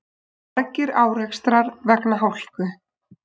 Margir árekstrar vegna hálku